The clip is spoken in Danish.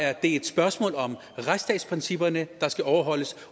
er et spørgsmål om retsstatsprincipperne der skal overholdes